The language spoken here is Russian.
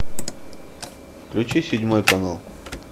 включи седьмой канал